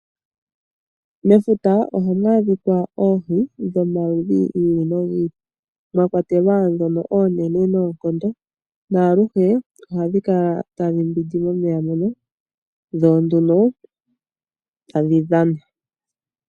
Mefuta ohamu adhikwa oohi dhomaludhi gi ili nogi ili, mwa kwatelwa dnono oonene noonkondo, na aluhe ohadhi kala tadhi mbwindi momeya ngono. Dho nduno tadhi dhana.